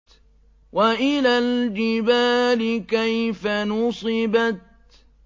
وَإِلَى الْجِبَالِ كَيْفَ نُصِبَتْ